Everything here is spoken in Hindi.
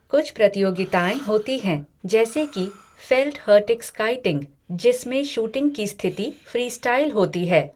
कुछ प्रतियोगिताएँ होती हैं, जैसे कि फ़ेल्टहर्टिगस्काईटिंग, जिसमें शूटिंग की स्थिति फ़्रीस्टाइल होती है।